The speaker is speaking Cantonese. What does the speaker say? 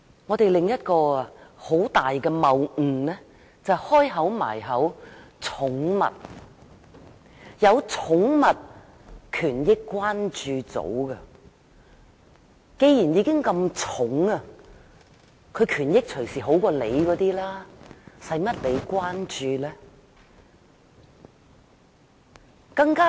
我們另一個很大的謬誤就是，既然已有寵物權益關注組，動物已經很得寵，權益隨時比人還好，無須再關注。